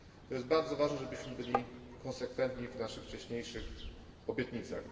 To jest bardzo ważne, żebyśmy byli konsekwentni w naszych wcześniejszych obietnicach.